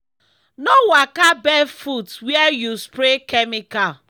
no waka barefoot where you spray chemical.